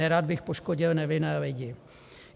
Nerad bych poškodil nevinné lidi.